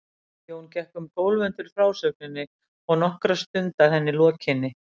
Jón gekk um gólf undir frásögninni og nokkra stund að henni lokinni.